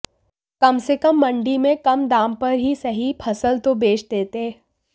कम से कम मंडी में कम दाम पर ही सही फसल तो बेच देते